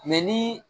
ni